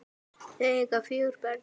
Þau eiga fjögur börn.